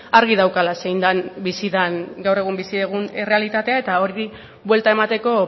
argi daukala zein den bizi den gaur egun bizi dugun errealitatea eta horri buelta emateko